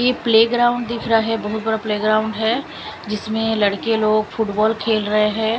ये प्लेग्राउंड दिख रहा है बहुत बड़ा प्लेग्राउंड है जिसमें लड़के लोग फुटबॉल खेल रहे हैं।